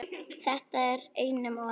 Þetta er einum of,